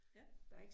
Ja